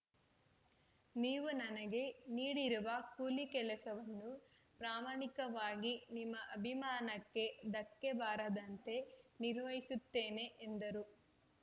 ನೀವು ನನಗೆ ನೀಡಿರುವ ಕೂಲಿ ಕೆಲಸವನ್ನು ಪ್ರಾಮಾಣಿಕವಾಗಿ ನಿಮ್ಮ ಅಭಿಮಾನಕ್ಕೆ ಧಕ್ಕೆ ಬಾರದಂತೆ ನಿರ್ವಹಿಸುತ್ತೇನೆ ಎಂದರು